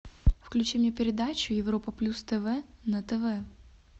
включи мне передачу европа плюс тв на тв